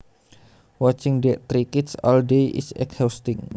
Watching three kids all day is exhausting